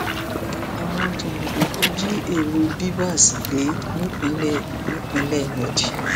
àwọn jàǹdùkú jí èrò bvas gbé nípìnlẹ nípínlẹ méjì